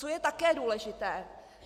Co je také důležité?